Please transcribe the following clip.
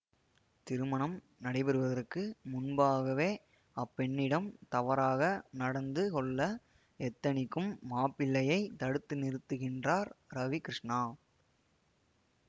திருமணம் நடைபெறுவதற்கு முன்பதாகவே அப்பெண்ணிடம் தவறாக நடந்து கொள்ள எத்தனிக்கும் மாப்பிள்ளையைத் தடுத்து நிறுத்துகின்றார் ரவி கிருஷ்ணா